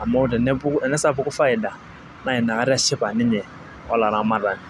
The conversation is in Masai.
amu tenesapuku faida Naina kata eshipa ninye olaramatani.